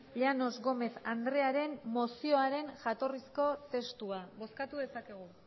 llanos gómez andrearen mozioaren jatorrizko testua bozkatu dezakegu